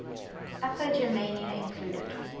upper germania included